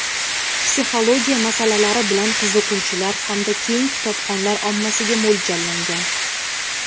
psixologiya masalalari bilan qiziquvchilar hamda keng kitobxonlar ommasiga mo‘ljallangan.